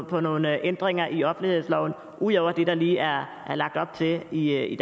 på nogle ændringer i offentlighedsloven ud over det der lige er lagt op til i